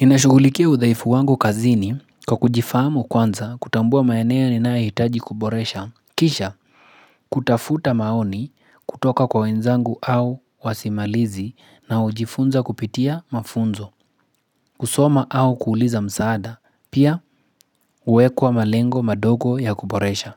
Ninashugulikia udhaifu wangu kazini kwa kujifahamu kwanza kutambua maeneo ninayohitaji kuboresha, kisha kutafuta maoni kutoka kwa wenzangu au wasimalizi na ujifunza kupitia mafunzo, kusoma au kuuliza msaada, pia huekwa malengo madogo ya kuboresha